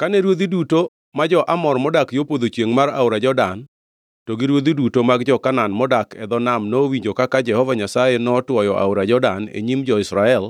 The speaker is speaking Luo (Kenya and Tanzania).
Kane ruodhi duto ma jo-Amor modak yo podho chiengʼ mar aora Jordan to gi ruodhi duto mag jo-Kanaan modak e dho nam nowinjo kaka Jehova Nyasaye notwoyo aora Jordan e nyim jo-Israel